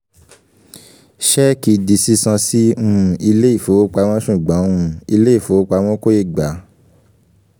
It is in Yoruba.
ṣẹ́ẹ̀kì di sísan sí um ilé ìfowopamọ́ ṣùgbọ́n um ilé ìfowopamọ́ kò ì gbà á